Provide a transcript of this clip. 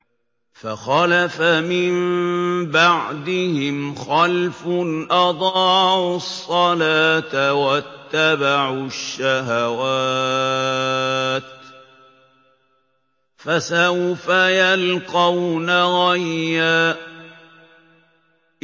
۞ فَخَلَفَ مِن بَعْدِهِمْ خَلْفٌ أَضَاعُوا الصَّلَاةَ وَاتَّبَعُوا الشَّهَوَاتِ ۖ فَسَوْفَ يَلْقَوْنَ غَيًّا